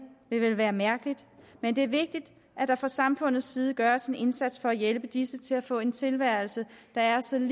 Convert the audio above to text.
ville vel være mærkeligt men det er vigtigt at der fra samfundets side gøres en indsats for at hjælpe disse mennesker til at få en tilværelse der er så lig